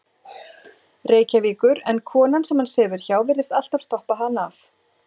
Reykjavíkur en konan, sem hann sefur hjá, virðist alltaf stoppa hann af.